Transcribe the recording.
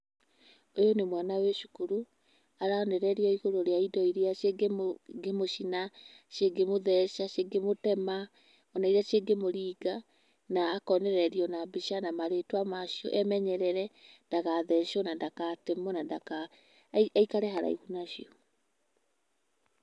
Ũyũ nĩ mwana wĩ cũkũrũ ararĩrĩria igũrũ ria ĩndo irĩa ingĩ mũcĩna, cingĩmũtheca , cingĩmũcina ,cingĩmũtema ona irĩa cingĩmũringa na akonererĩo na mbica na marĩtwa macio emenyerere ndagathecwo na ndagatemwio na ndaka aikare haraihũ na cio.